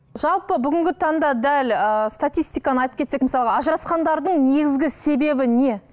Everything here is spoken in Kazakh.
жалпы бүгінгі таңда дәл ыыы статистиканы айтып кетсек мысалы ажырасқандардың негізгі себебі не